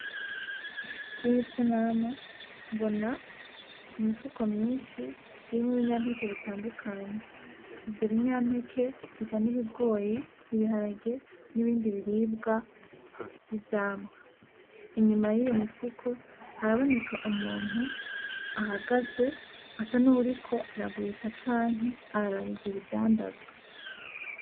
Kuriyisanamu mbona imifuko myinshi irimwo ibinyampeke bitandukanye. Ivyo binyampeke bisa n'ibigori, ibiharage n'ibindi biribwa vy'ivyamwa. Inyuma yiyo mifuko haraboneka umuntu ahagaze asa nuwuriko aragurisha canke araraba ivyo bidandazwa.